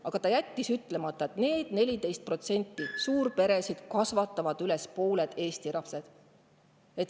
Aga ta jättis ütlemata, et suurpered, keda on 14%, kasvatavad üles pooled Eesti lapsed.